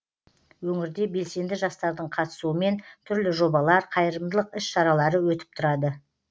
өңірде белсенді жастардың қатысуымен түрлі жобалар қайырымдылық іс шаралары өтіп тұрады